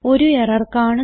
ഒരു എറർ കാണുന്നു